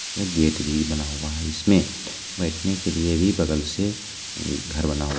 एक गेट भी बना हुआ है इसमें बैठने के लिए भी बगल से घर बना हु --